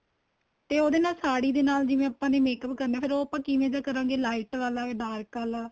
ਤੇ ਉਹਦੇ ਨਾਲ ਸਾੜੀ ਦੇ ਨਾਲ ਜਿਵੇਂ ਆਪਾਂ ਨੇ makeup ਕਰਨਾ ਫ਼ੇਰ ਉਹ ਆਪਾਂ ਕਿਵੇਂ ਦਾ ਕਰੇਗਾ light ਆਂਲਾ dark ਆਲਾ